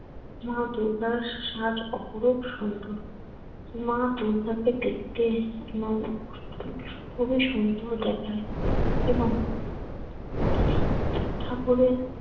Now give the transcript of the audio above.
মা দুর্গার সাজ অপরূপ সুন্দর। মা দুর্গাকে দেখতে নও খুবই সুন্দর দেখায় এবং ঠাকুরের